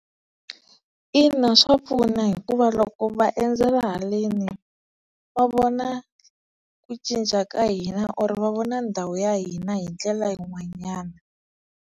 Ina swa pfuna hikuva loko va endzela haleni va vona ku cinca ka hina or va vona ndhawu ya hina hindlela yin'wanyana.